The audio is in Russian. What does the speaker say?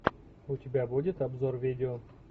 у тебя будет обзор видео